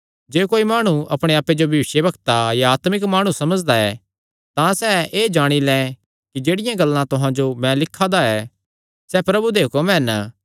जे कोई माणु अपणे आप्पे जो भविष्यवक्ता या आत्मिक माणु समझदा ऐ तां सैह़ एह़ जाणी लैं कि जेह्ड़ियां गल्लां तुहां जो मैं लिखा दा ऐ सैह़ प्रभु दे हुक्म हन